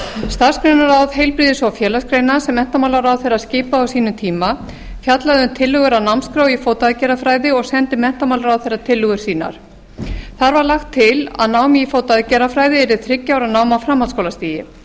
starfsgreinaráð heilbrigðis og félagsgreina sem menntamálaráðherra skipaði á sínum tíma fjallaði um tillögur að námskrá um fótaaðgerðafræði og sendi menntamálaráðherra tillögur sínar þar var lagt til að nám í fótaaðgerðafræði yrði þriggja ára nám á framhaldsskólastigi